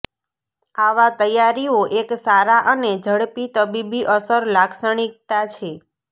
આવા તૈયારીઓ એક સારા અને ઝડપી તબીબી અસર લાક્ષણિકતા છે